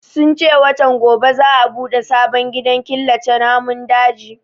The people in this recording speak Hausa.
Sun ce watan gobe za a bude sabon gidan killace namun dajin